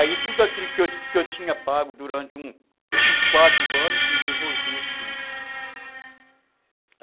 Aí tudo aquilo que eu que eu tinha pago durante uns quatro anos, me devolveram tudo.